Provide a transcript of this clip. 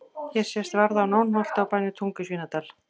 Hér sést varða á Nónholti á bænum Tungu í Svínadal.